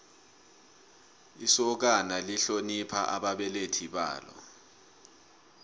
isokana lihlonipha ababelethi balo